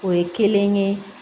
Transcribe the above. O ye kelen ye